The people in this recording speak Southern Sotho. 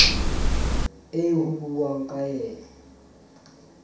eo ho buuwang ka yena